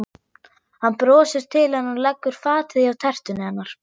Hann brosir til hennar og leggur fatið hjá tertunni hennar.